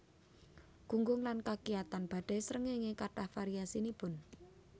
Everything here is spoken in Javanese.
Gunggung lan kakiyatan badai srengéngé kathah variasinipun